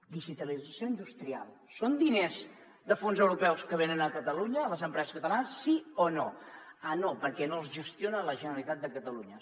digitalització industrial són diners de fons europeus que venen a catalunya a les empreses catalanes sí o no ah no perquè no els gestiona la generalitat de catalunya